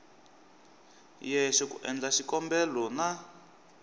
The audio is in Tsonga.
yexe ku endla xikombelo na